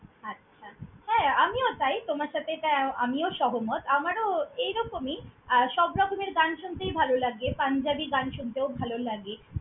আচ্ছা! হ্যাঁ, আমিও তাই তোমার সাথে এটা আ~ আমিও সহমত আমারও এইরকমই আর সবরকমের গান শুনতেই ভাল লাগে। পাঞ্জাবী গান শুনতেও ভাল লাগে।